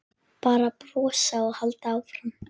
Bara brosa og halda áfram.